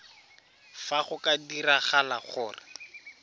fa go ka diragala gore